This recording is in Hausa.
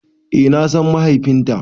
Eh na san mahaifinta.